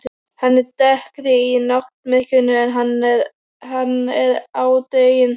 Hann er dekkri í náttmyrkrinu en hann er á daginn.